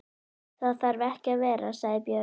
Það þarf ekki að vera, sagði Björg.